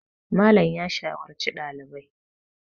Malam ya shawarci ɗalibai